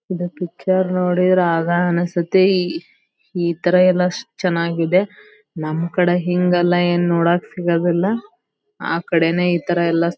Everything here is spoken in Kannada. ಈದ್ ಪಿಕ್ಚರ್ ನೋಡಿ ರಾಗ್ ಅನ್ನಸ್ತತಿ ಇತರ ಎಲ್ಲಾ ಚನ್ನಾಗಿದೆ. ನಮ್ಮ ಕಡೆ ಹಿಂಗೆಲ್ಲಾ ನೋಡಕ್ ಸಿಗದಿಲ್ಲಾ. ಆ ಕಡೆನೇ ಇತರ ಎಲ್ಲಾ.--